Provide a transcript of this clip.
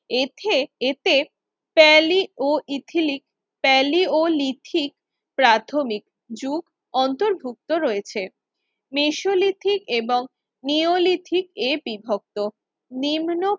এথে এতে টেলিয়ইথিলিক টেলিয়লিথিক প্রাথমিক যুগ অন্তর্ভুক্ত রয়েছে মেশোলিথিক এবং নিয়লিথিকে বিভক্ত নিম্ন